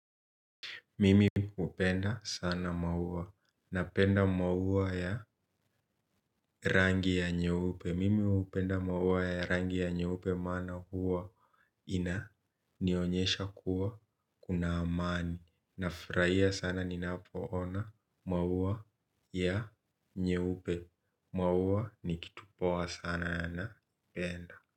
Mimi hupenda sana maua. Napenda maua ya rangi ya nyeupe. Mimi hupenda maua ya rangi ya nyeupe maana huwa inanionyesha kuwa kuna amani. Nafurahia sana ninapo ona maua ya nyeupe. Maua ni kitu poa sana ya napenda.